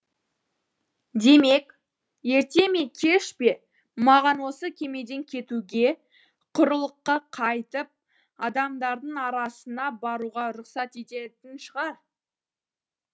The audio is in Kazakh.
демек ерте ме кеш пе маған осы кемеден кетуге құрылыққа қайтып адамдардың арасына баруға рұқсат ететін шығар